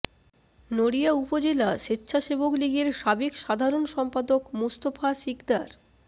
নড়িয়া উপজেলা স্বেচ্ছাসেবক লীগের সাবেক সাধারণ সম্পাদক মোস্তফা সিকদার